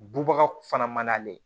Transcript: Bubaga fana mana ye